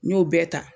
N y'o bɛɛ ta